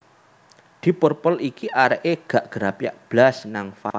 Deep Purple iki arek e gak grapyak blas nang fans